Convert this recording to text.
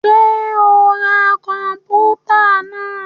Ṣe o n rá kọnputa náà?